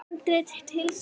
Handrit til sölu.